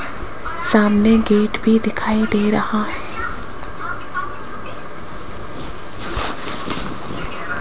सामने गेट भी दिखाई दे रहा --